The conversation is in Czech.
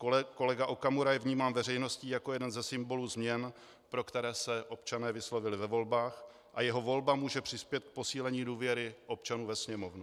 Kolega Okamura je vnímán veřejností jako jeden ze symbolů změn, pro které se občané vyslovili ve volbách, a jeho volba může přispět k posílení důvěry občanů ve Sněmovnu.